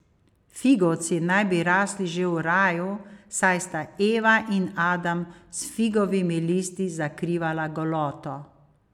Figovci naj bi rasli že v raju, saj sta Eva in Adam s figovimi listi zakrivala goloto.